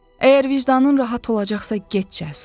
Əgər vicdanın rahat olacaqsa, get Cəsur.